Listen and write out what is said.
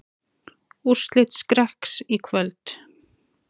Úrslit Skrekks í kvöld